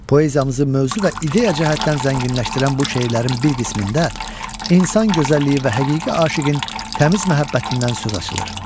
Poeziyamızı mövzu və ideya cəhətdən zənginləşdirən bu şeirlərin bir qismində insan gözəlliyi və həqiqi aşiqin təmiz məhəbbətindən söz açılır.